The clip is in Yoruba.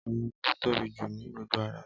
Ọpọlọ ló tóbi jù ní gbogbo ara